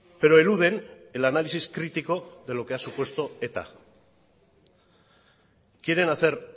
pero eluden el análisis crítico de lo que ha supuesto eta quieren hacer